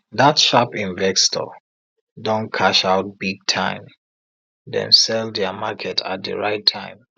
dat sharp investor don cash out big time dem sell dia market at di right time